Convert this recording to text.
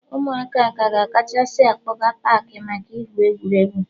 Ụmụaka ka a kachasị akpọga paakị maka igwu egwuregwu